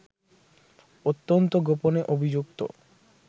অত্যন্ত গোপনে অভিযুক্ত